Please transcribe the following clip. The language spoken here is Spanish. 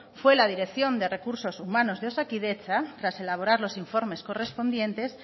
fue la dirección de recursos humanos de osakidetza tras elaborar los informes correspondientes